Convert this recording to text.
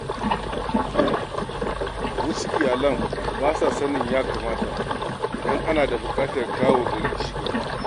Wasu iyalan ba sa sanin ya kamata idan ana buƙatar kawo wa gari cigaba.